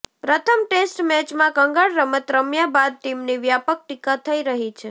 પ્રથમ ટેસ્ટ મેચમાં કંગાળ રમત રમ્યા બાદ ટીમની વ્યાપક ટિકા થઇ રહી છે